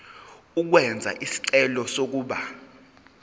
ukwenza isicelo sokuba